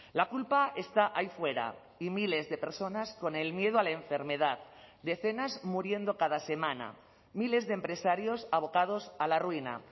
la culpa está ahí fuera y miles de personas con el miedo a la enfermedad decenas muriendo cada semana miles de empresarios abocados a la ruina